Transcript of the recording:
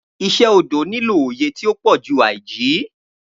Iṣe ti odo nilo oye ti o pọju aiji.